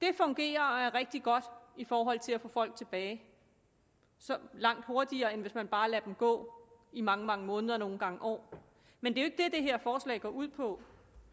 det fungerer og er rigtig godt i forhold til at få folk tilbage langt hurtigere end hvis man bare lader dem gå i mange mange måneder og nogle gange år men det er det her forslag går ud på